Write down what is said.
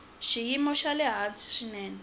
xiyimo xa le hansi swinene